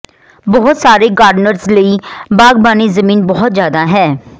ਬਹੁਤ ਸਾਰੇ ਗਾਰਡਨਰਜ਼ ਲਈ ਬਾਗਬਾਨੀ ਜ਼ਮੀਨ ਬਹੁਤ ਜਿਆਦਾ ਹੈ